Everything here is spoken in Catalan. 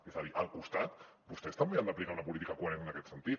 és a dir al costat vostès també han d’aplicar una política coherent en aquest sentit